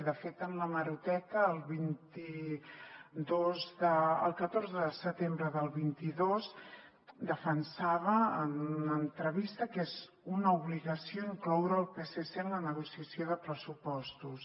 de fet en l’hemeroteca el catorze de setembre del vint dos defensava en una entrevista que és una obligació incloure el psc en la negociació de pressupostos